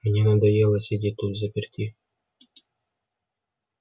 мне надоело сидеть тут взаперти